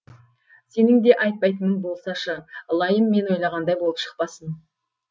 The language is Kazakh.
сенің де айтпайтының болсашы ылайым мен ойлағандай болып шықпасын